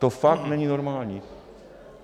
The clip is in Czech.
To fakt není normální.